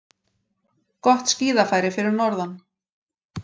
Gott skíðafæri fyrir norðan